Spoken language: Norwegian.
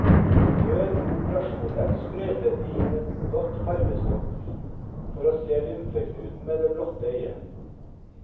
Før operasjonen sprøytet de inn et blått farvestoff, for å se lymfeknuten med det blotte øye.